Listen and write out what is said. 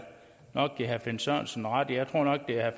nok give herre finn sørensen ret jeg tror nok det er